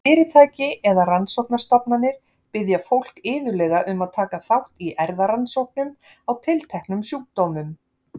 Fyrirtæki eða rannsóknastofnanir biðja fólk iðulega um að taka þátt í erfðarannsóknum á tilteknum sjúkdómum.